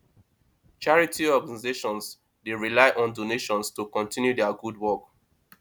charity organizations dey rely on donations to continue dia gud wok